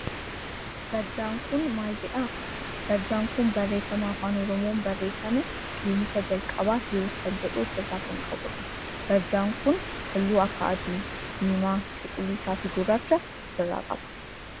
Barjaan kun maal jedha? Barjaan kun barreeffama afaan oromoon barreeffame kiliinika jalqabaa Hiwoot kan jedhu of irraa kan qabudha. Barjaan kun halluu akka adii, diimaa, cuquliisa, fi gurraacha of irraa qaba.